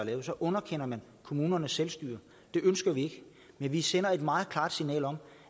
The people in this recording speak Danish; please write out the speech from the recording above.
lavet så underkender man kommunernes selvstyre det ønsker vi ikke men vi sender et meget klart signal om